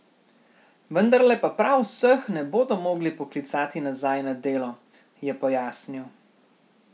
Vendarle pa prav vseh ne bodo mogli poklicati nazaj na delo, je pojasnil.